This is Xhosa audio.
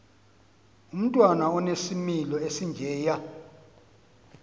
umntwana onesimilo esinjeya